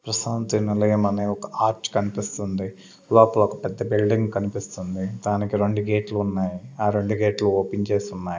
ప్రశాంతి నిలయం అని ఒక ఆర్చ్ కనిపిస్తుంది లోపల ఒక పెద్ద బిల్డింగ్ కనిపిస్తుంది దానికి రెండు గేట్లు ఉన్నాయి ఆ రెండు గేట్లు ఓపెన్ చేసున్నాయి.